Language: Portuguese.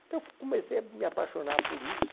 Então eu f comecei a me apaixonar por isso.